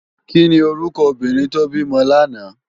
Kini órúkò óbìrín tó bimò làná?